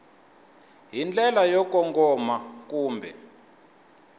hi ndlela yo kongoma kumbe